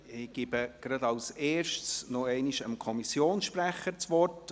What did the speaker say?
Zuerst gebe ich nochmals dem Kommissionssprecher das Wort.